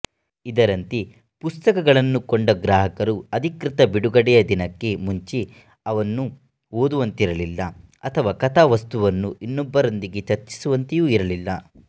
ಇದರಂತೆ ಪುಸ್ತಕಗಳನ್ನು ಕೊಂಡ ಗ್ರಾಹಕರು ಅಧಿಕೃತ ಬಿಡುಗಡೆಯ ದಿನಕ್ಕೆ ಮುಂಚೆ ಅವನ್ನು ಓದುವಂತಿರಲಿಲ್ಲ ಅಥವಾ ಕಥಾವಸ್ತುವನ್ನು ಇನ್ನೊಬ್ಬರೊಂದಿಗೆ ಚರ್ಚಿಸುವಂತೆಯೂ ಇರಲಿಲ್ಲ